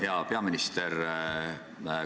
Hea peaminister!